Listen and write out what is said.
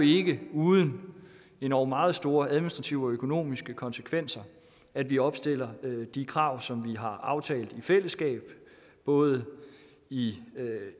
ikke uden endog meget store administrative og økonomiske konsekvenser at vi opstiller de krav som vi har aftalt i fællesskab både i